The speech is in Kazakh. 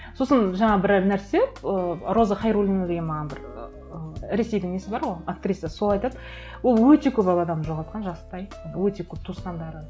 сосын жаңа бір нәрсе ыыы роза хайруллина деген маған бір ыыы ресейдің несі бар ғой актрисасы сол айтады ол өте көп ақ адам жоғалтқан жастай өте көп туысқандарын